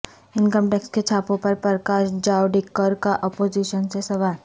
income tax کے چھاپوں پرپرکاش جاوڈیکر کا اپوزیشن سے سوال